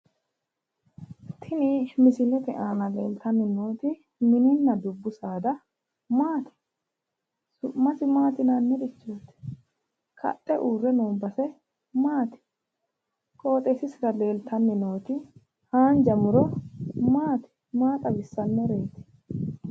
Tini misilete aana leeltanni nooti mininna dubbu saada maati? su'masi maati yinannirichooti? kaxxe uurre no base maati? qoxxeessisira leeltanni nooti haanja muto maati? Maa xawissannoreeti?